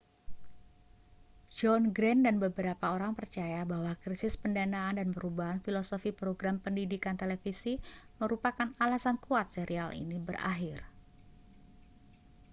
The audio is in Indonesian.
john grant dan beberapa orang percaya bahwa krisis pendanaan dan perubahan filosofi program pendidikan televisi merupakan alasan kuat serial ini berakhir